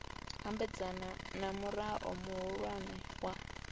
ambedzana na murao muhulwane wa